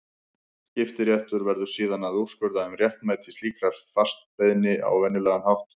Skiptaréttur verður síðan að úrskurða um réttmæti slíkrar frestbeiðni á venjulegan hátt.